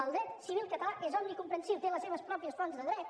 el dret civil català és omnicomprensiu té les seves pròpies fonts de dret